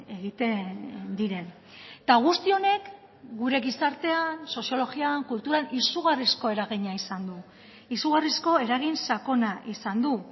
egiten diren eta guzti honek gure gizartean soziologian kulturan izugarrizko eragina izan du izugarrizko eragin sakona izan du